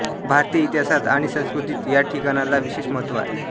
भारतीय इतिहासात आणि संस्कृतीत या ठिकाणाला विशेष महत्व आहे